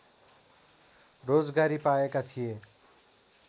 रोजगारी पाएका थिए